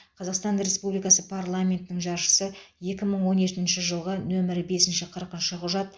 қазақстан республикасы парламентінің жаршысы екі мың он екінші жылғы нөмірі бес қырықыншы құжат